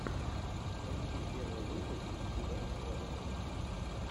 поищи первый выпуск си вест плей